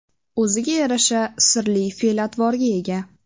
O‘ziga yarasha sirli fe’l-atvorga ega.